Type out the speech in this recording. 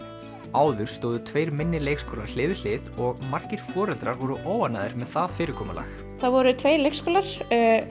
áður stóðu tveir minni leikskólar hlið við hlið og margir foreldrar voru óánægðir með það fyrirkomulag það voru tveir leikskólar